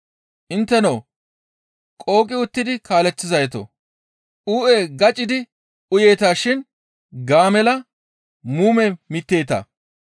Intteno qooqi uttidi kaaleththizaytoo! Uu7e gaccidi uyeeta shin gaamella muume mitteeta!